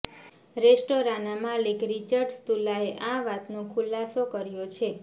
રેસ્ટોરાંના માલિક રિચર્ડ સ્તુલાએ આ વાતનો ખુલાસો કર્યો છે